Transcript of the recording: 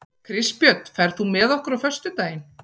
Kristbjörn, ferð þú með okkur á föstudaginn?